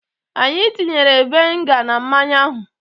Anyị tinyere viniga na mmanya ahụ.